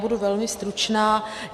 Budu velmi stručná.